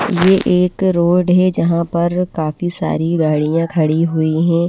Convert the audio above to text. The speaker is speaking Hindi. ये एक रोड है जहां पर काफी सारी गाड़ियां खड़ी हुई है।